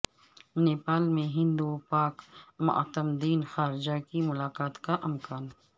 نیپال میں ہند و پاک معتمدین خارجہ کی ملاقات کا امکان